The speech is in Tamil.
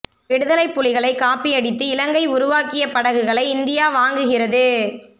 விடுதலைப் புலிகளைக் காப்பி அடித்து இலங்கை உருவாக்கிய படகுகளை இந்தியா வாங்குகிறது